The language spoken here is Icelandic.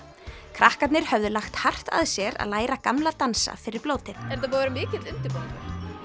krakkarnir höfðu lagt hart að sér að læra gamla dansa fyrir blótið er þetta búinn að vera mikill undirbúningur